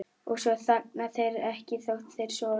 Og svo þagna þeir ekki þótt þeir sofi.